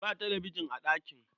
Ba talabijin a ɗakin.